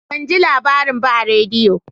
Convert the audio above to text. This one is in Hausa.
Ban ji labarin ba a rediyo